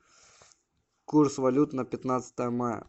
курс валют на пятнадцатое мая